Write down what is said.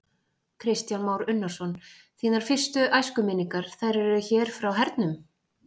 Kristján Már Unnarsson: Þínar fyrstu æskuminningar, þær eru hér frá hernum?